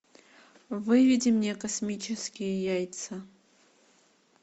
выведи мне космические яйца